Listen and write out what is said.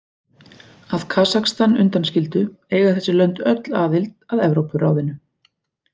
Að Kasakstan undanskildu eiga þessi lönd öll aðild að Evrópuráðinu.